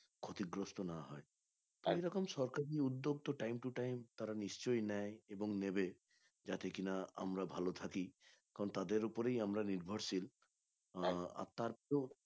ক্ষতিগ্রস্থ না হয় এইরকম সরকারের উদ্যোগ তো time to time তারা নিশ্চই নেই এবং নেবে যাতে কিনা আমরা ভালো থাকি এখন তাদের উপরেই আমরা নির্ভরশীল আহ আপনারে তো